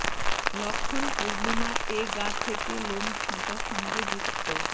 লক্ষণ পূর্ণিমা এ গা থেকে লোম ছাঁটা সঙ্গে যুক্ত